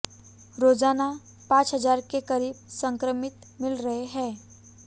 रोजाना पांच हजार के करीब संक्रमित मिल रहे हैं